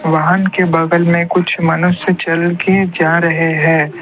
वाहन के बगल में कुछ मनुष्य चल के जा रहे है।